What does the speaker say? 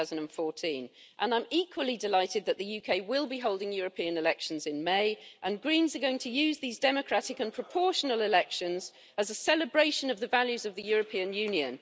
2014. I'm equally delighted that the UK will be holding European elections in May and the Greens are going to use these democratic and proportional elections as a celebration of the values of the European Union.